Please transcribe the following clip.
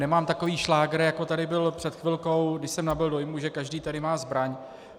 Nemám takový šlágr, jako tady byl před chvilkou, kdy jsem nabyl dojmu, že každý tady má zbraň.